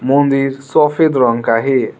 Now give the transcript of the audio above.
मंदिर सफेद रंग का है।